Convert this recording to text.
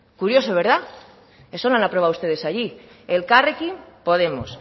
curioso eso lo han aprobado ustedes allí elkarrekin podemos